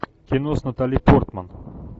кино с натали портман